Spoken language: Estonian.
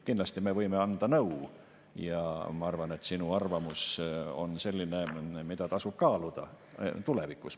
Kindlasti me võime anda nõu ja ma arvan, et sinu arvamus on selline, mida tasub kaaluda tulevikus.